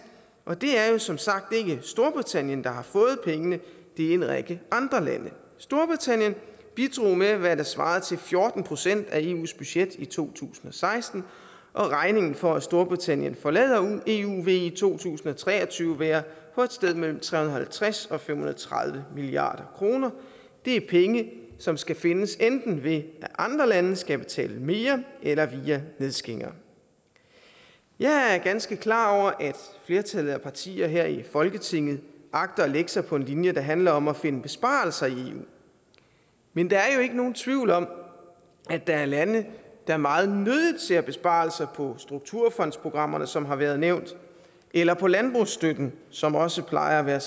og det er som sagt ikke storbritannien der har fået pengene det er en række andre lande storbritannien bidrog med hvad der svarede til fjorten procent af eus budget i to tusind og seksten og regningen for at storbritannien forlader eu vil i to tusind og tre og tyve være på et sted mellem tre hundrede og halvtreds og fem hundrede og tredive milliard kroner det er penge som skal findes enten ved at andre lande skal betale mere eller via nedskæringer jeg er ganske klar over at flertallet af partier her i folketinget agter at lægge sig på en linje der handler om at finde besparelser i eu men der er jo ikke nogen tvivl om at der er lande der er meget nødigt ser besparelser på strukturfondsprogrammerne som har været nævnt eller på landbrugsstøtten som også plejer at være